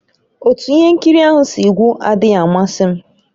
Otú ihe nkiri ahụ si gwụ adịghị amasị m